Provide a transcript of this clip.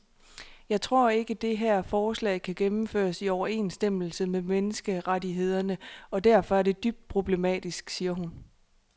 Jeg tror ikke, det her forslag kan gennemføres i overensstemmelse med menneskerettighederne og derfor er det dybt problematisk, siger hun.